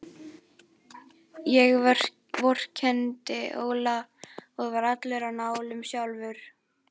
Ég vorkenndi Óla og var allur á nálum sjálfur.